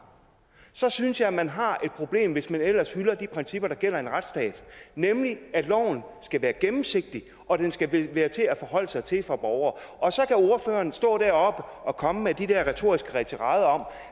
så synes jeg at man har et problem hvis man ellers hylder de principper der gælder i en retsstat nemlig at loven skal være gennemsigtig og at den skal være til at forholde sig til for borgere og så kan ordføreren stå deroppe og komme med de der retoriske tirader om